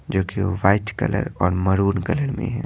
जो कि white colour और मरून कलर में है।